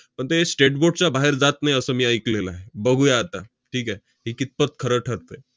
पण ते state board च्या बाहेर जात नाही, असं मी ऐकलेलं आहे. बघूया आता, ठीक आहे? ते कितपत खरं ठरतंय.